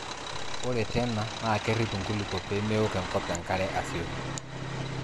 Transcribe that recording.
Ore tena naa kerrip nkulupuok pee meok enkop enkare asioki.